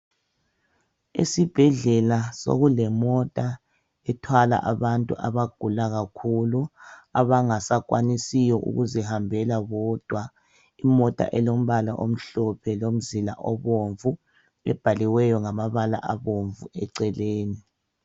Esibhedlela sokulemota ethwala abantu abagula kakhulu abangasakwanisiyo ukuzihambela bodwa. Imota elombala omhlophe lomzila obomvu ebhaliweyo ngamabala abomvu eceleni.